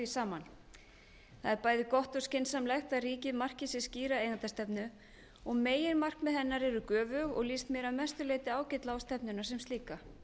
saman það er bæði gott og skynsamlegt að ríkið marki sér skýra eigendastefnu og meginmarkmið hennar eru göfug og líst mér að mestu leyti ágætlega á stefnuna sem slíka